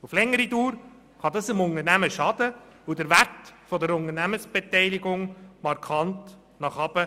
Auf die Dauer kann dies dem Unternehmen schaden und den Wert der Unternehmensbeteiligung markant senken.